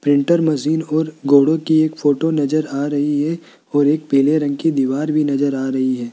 Printer machine और घोड़े की एक फोटो नजर आ रही है और एक पीले रंग की दीवार भी नजर आ रही है।